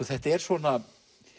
þetta er svona